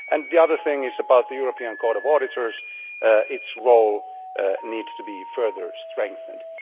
My other point is about the European Court of Auditors. Its role needs to be further strengthened.